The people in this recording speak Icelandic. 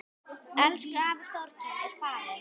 Elsku afi Þorkell er farinn.